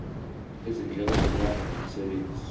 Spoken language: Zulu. izindleko zokuhamba ngomsebenzi